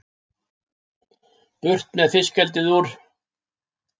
Burt með fiskeldið úr